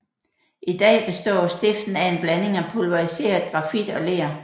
I dag består stiften af en blanding af pulveriseret grafit og ler